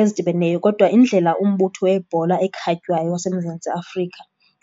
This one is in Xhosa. ezidibeneyo. Kodwa indlela umbutho webhola ekhatywayo waseMzantsi Afrika